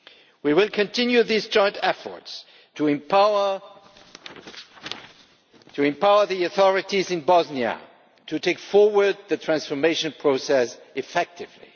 We will continue these joint efforts to empower the authorities in Bosnia to take forward the transformation process effectively.